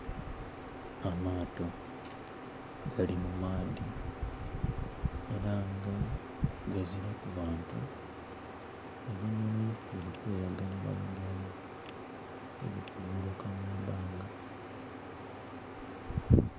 Amaato gali mu maadhi era nga gazilaku bantu, ebinonhi biri kweyagalila nga biri ku guluka mwibanga.